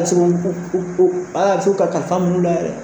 Paseke u u o aa tɛ se ku ka kalifa minnu la yɛrɛ.